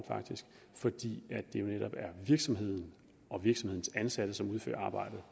fordi det jo netop er virksomheden og virksomhedens ansatte som udfører arbejdet